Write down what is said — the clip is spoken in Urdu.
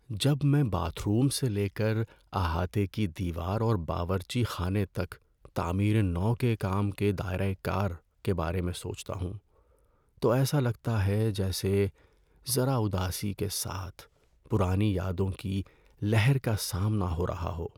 ‏جب میں باتھ روم سے لے کر احاطے کی دیوار اور باورچی خانے تک تعمیر نو کے کام کے دائرہ کار کے بارے میں سوچتا ہوں تو ایسا لگتا ہے جیسے ذرا اداسی کے ساتھ پرانی یادوں کی لہر کا سامنا ہو رہا ہو۔